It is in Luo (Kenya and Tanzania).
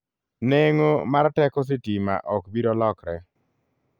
Neng'o mar teko sitima ok biro lokre.